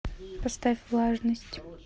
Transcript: поставь влажность